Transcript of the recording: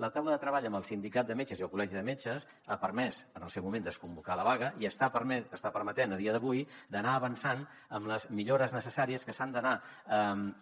la taula de treball amb el sindicat de metges i el col·legi de metges ha permès en el seu moment desconvocar la vaga i està permetent a dia d’avui d’anar avançant amb les millores necessàries que s’han d’anar